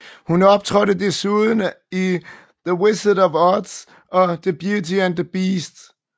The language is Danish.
Hun optrådte desuden i The Wizard of Oz og Beauty and the Beast